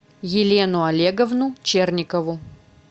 елену олеговну черникову